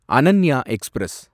Ananya express